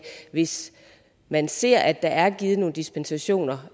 hvis man ser at der er givet nogle dispensationer